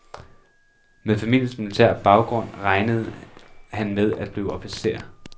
Med familiens militære baggrund regnede han med at blive officer.